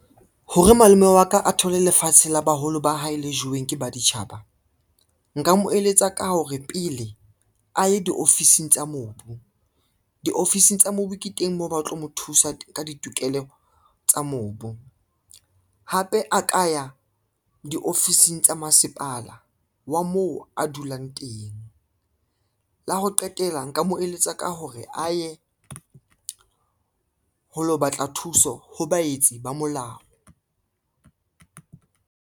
Hore malome wa ka a thole lefatshe la baholo ba hae le jeweng ke baditjhaba. Nka mo eletsa ka hore pele a ye diofising tsa mobu, diofising tsa mobu ke teng moo ba tlo mo thusa ka ditokelo tsa mobu. Hape a ka ya diofising tsa masepala wa moo a dulang teng, la ho qetela nka mo eletsa ka hore a ye ho lo batla thuso ho baetsi ba molao.